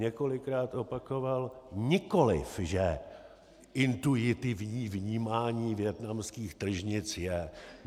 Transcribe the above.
Několikrát opakoval, nikoliv že intuitivní vnímání vietnamských tržnic je.